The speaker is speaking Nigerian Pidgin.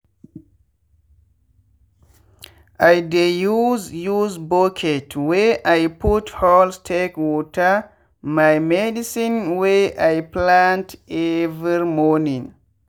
i dey use use bucket wey i put holes take water my medicine wey i plant every morning.